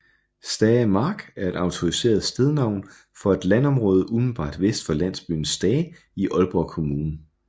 Stae Mark er et autoriseret stednavn for et landområde umiddelbart vest for landsbyen Stae i Aalborg Kommune